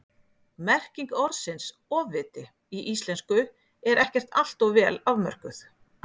Merking orðsins ofviti í íslensku er ekkert alltof vel afmörkuð.